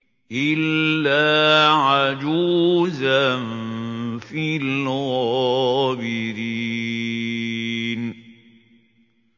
إِلَّا عَجُوزًا فِي الْغَابِرِينَ